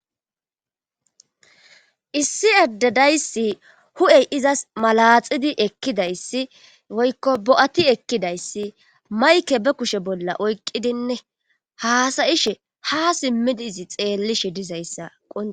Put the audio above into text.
Issi addedayssi hu7ey izas malaxidi ekkidayssi woykko bo7ati ekkidayssi mayke be kushe bolla oykqidine haasayishe ha simmidi izi xeellishe dizayssaqo.